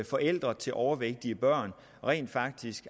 forældre til overvægtige børn rent faktisk